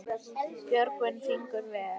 Björgin fingur ver.